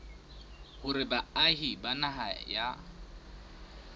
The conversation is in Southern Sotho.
hore baahi ba naha ya